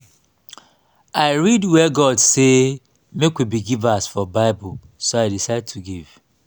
i read where god say make we be givers for bible so i decide to give